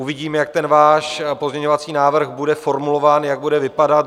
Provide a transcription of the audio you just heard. Uvidím, jak ten váš pozměňovací návrh bude formulován, jak bude vypadat.